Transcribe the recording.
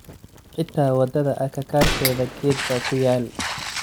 Xita wadada akakarkedha geed ba kuyal.